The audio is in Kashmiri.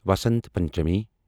وسنت پنچمی